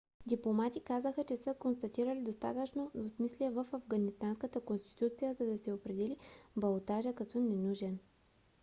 дипломати казаха че са констатирали достатъчно двусмислие в афганистанската конституция за да се определи балотажа като ненужен